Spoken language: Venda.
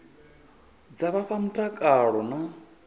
dza vha fha mutakalo na